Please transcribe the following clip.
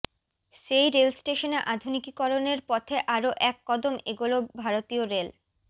সেই রেল স্টেশনে আধুনিকীকরণের পথে আরও এক কদম এগোল ভারতীয় রেল